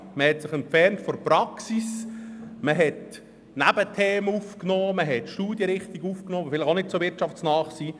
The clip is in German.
Man hat sich von der Praxis entfernt und hat Nebenthemen und Studienrichtungen aufgenommen, die vielleicht nicht so wirtschaftsnahe sind.